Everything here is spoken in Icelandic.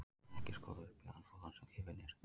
Ekki er skoðað upp í þann folann sem gefinn er.